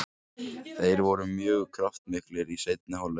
Þeir voru mjög kraftmiklir í seinni hálfleik.